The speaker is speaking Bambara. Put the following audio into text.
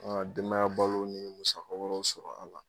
Denmaya balo ni musaka wɛrɛw sɔrɔ a la